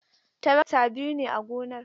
Tarakta biyu ne a gonar.